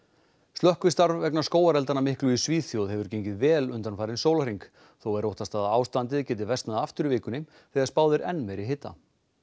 slökkvistarf vegna skógareldanna miklu í Svíþjóð hefur gengið vel undanfarinn sólarhring þó er óttast að ástandið geti versnað aftur í vikunni þegar spáð er enn meiri hita